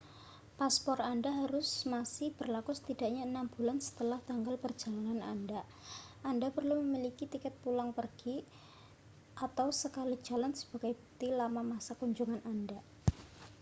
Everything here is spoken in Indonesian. paspor anda harus masih berlaku setidaknya 6 bulan setelah tanggal perjalanan anda. anda perlu memiliki tiket pulang pergi/sekali jalan sebagai bukti lama masa kunjungan anda